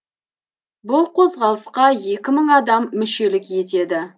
бұл қозғалысқа екі мың адам мүшелік етеді